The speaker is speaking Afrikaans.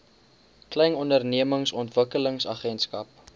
klein ondernemings ontwikkelingsagentskap